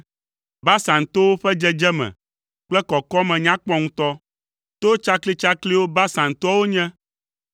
Basan towo ƒe dzedzeme kple kɔkɔme nya kpɔ ŋutɔ; to tsaklitsakliwo Basan toawo nye.